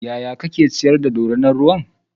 yaya kake ciyar da dorinar ruwan?